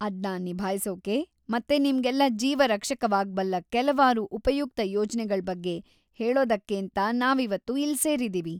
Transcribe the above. ಅದ್ನ ನಿಭಾಯ್ಸೋಕೆ ಮತ್ತೆ ನಿಮ್ಗೆಲ್ಲ ಜೀವ ರಕ್ಷಕವಾಗ್ಬಲ್ಲ ಕೆಲ್ವಾರು ಉಪಯುಕ್ತ ಯೋಜ್ನೆಗಳ್ ಬಗ್ಗೆ ಹೇಳೋದಕ್ಕೇಂತ ನಾವಿವತ್ತು ಇಲ್ಲ್‌ ಸೇರಿದೀವಿ.